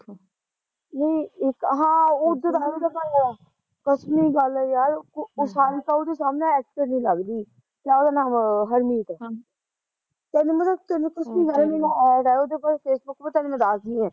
ਨਹੀਂ ਇੱਕ ਹਾਂ ਉਦਾ ਦਾ ਈ ਐ ਉਹ ਭਈ ਕਦਮੀ ਗੱਲ ਐ ਯਾਰ ਸਾਰਿਕਾ ਉਹਦੇ ਸਾਹਮਣੇ ਅਕਟਰਨੀ ਲੱਗਦੀ ਕਿਆ ਉਹਦਾ ਨਾਮ ਹਰਮੀਤ ਤੇਨੂੰ ਮੈਂ ਉਹਦਾ ਤੇਨੂੰ ਸੱਚੀ ਗੱਲ ਐ ਮੇਰੇ ਨਾਲ਼ ਐਡ ਐ ਉਦੇ ਪਰ ਫੇਸਬੂਕ ਪਰ ਤੇਨੂੰ ਮੈਂ ਦੱਸਦੀ ਆ